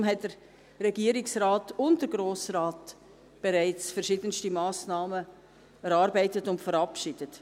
Deshalb haben der Regierungsrat und der Grosse Rat bereits verschiedenste Massnahmen erarbeitet und verabschiedet.